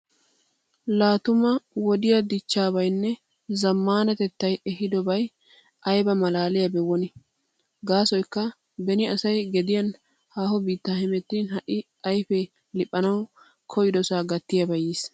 Laa tuma wodiya dichchaabaynne zammaanatettay ehiidobay ayba malaaliyabee woni! Gaasoykka beni asay gediyan haaho biitta hemettin ha"i ayfee liphanawu koyidosaa gattiyabay yiis.